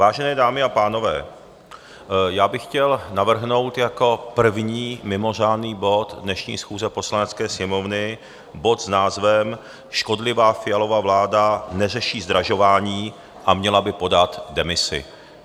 Vážené dámy a pánové, já bych chtěl navrhnout jako první mimořádný bod dnešní schůze Poslanecké sněmovny bod s názvem Škodlivá Fialova vláda neřeší zdražování a měla by podat demisi.